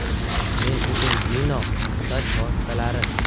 Men uchun Minox soch vositalari!